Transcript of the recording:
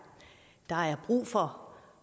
brug for